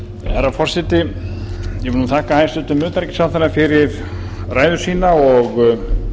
herra forseti ég vil þakka hæstvirtum utanríkisráðherra fyrir ræðu sína og